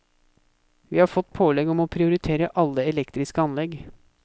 Vi har fått pålegg om å prioritere alle elektriske anlegg.